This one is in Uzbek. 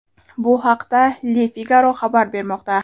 Bu haqda Le Figaro xabar bermoqda .